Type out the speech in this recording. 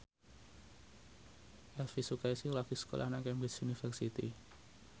Elvi Sukaesih lagi sekolah nang Cambridge University